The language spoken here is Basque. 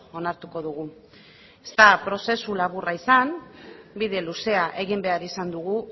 onartuko dugu ez da prozesu laburra izan bide luzea egin behar izan dugu